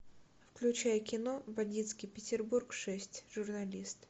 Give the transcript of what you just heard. включай кино бандитский петербург шесть журналист